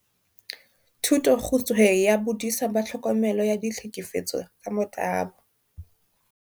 "Thutokgutshwe ya Bodisa ba Tlhokomelo ya Ditlhekefetso tsa Motabo."